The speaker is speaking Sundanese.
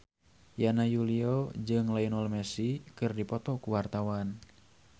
Yana Julio jeung Lionel Messi keur dipoto ku wartawan